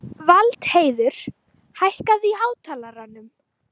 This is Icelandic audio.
Valdheiður, hækkaðu í hátalaranum.